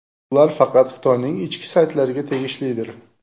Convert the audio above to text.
Ular faqat Xitoyning ichki saytlariga tegishlidir.